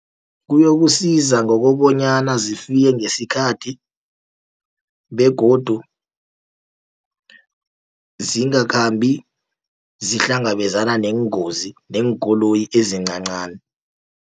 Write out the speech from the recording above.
Kuyokusiza ngokobanyana zifike ngesikhathi begodu zingakhambi zihlangabezana neengozi neenkoloyi ezincancani.